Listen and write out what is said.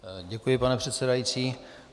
Děkuji, pane předsedající.